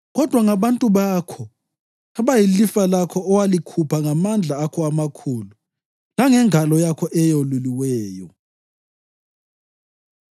Kodwa ngabantu bakho, abayilifa lakho owalikhupha ngamandla akho amakhulu langengalo yakho eyeluliweyo.’ ”